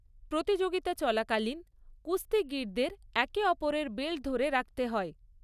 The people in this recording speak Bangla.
প্রতিযোগিতা চলাকালীন, কুস্তিগীরদের একে অপরের বেল্ট ধরে রাখতে হয়।